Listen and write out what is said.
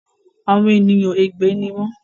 Àwọn ènìyàn ègbè ni wọn